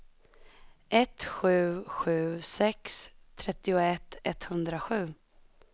ett sju sju sex trettioett etthundrasju